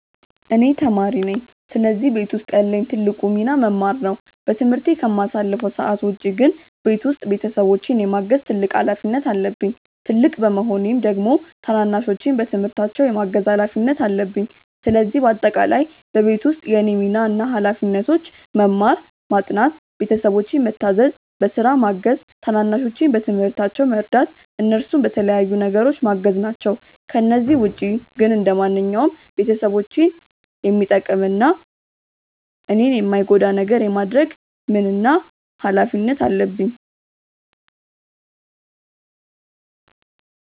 እኔ ተማሪ ነኝ ስለዚህ ቤት ውስጥ ያለኝ ትልቁ ሚና መማር ነው። በትምህርት ከማሳልፈው ሰዓት ውጪ ግን ቤት ውስጥ ቤተሰቦቼን የማገዝ ትልቅ ሀላፊነት አለብኝ። ትልቅ በመሆኔም ደግሞ ታናናሾቼን በትምህርታቸው የማገዝ ሀላፊነት አለብኝ። ስለዚህ በአጠቃላይ በቤት ውስጥ የእኔ ሚና እና ሀላፊነቶች መማር፣ ማጥናት፣ ቤተሰቦቼን ምታዘዝ፣ በስራ ማገዝ፣ ታናናሾቼን በትምህርታቸው መርዳት፣ እነሱን በተለያዩ ነገሮች ማገዝ ናቸው። ከነዚህ ውጪ ግን ማንኛውንም ቤተሰቦቼን የሚጠቅም እና እኔን የማይጎዳ ነገር የማድረግ ምን እና ሀላፊነት አለብኝ።